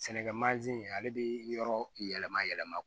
Sɛnɛkɛ ale bi yɔrɔ yɛlɛma yɛlɛma